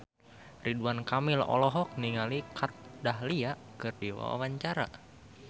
Ridwan Kamil olohok ningali Kat Dahlia keur diwawancara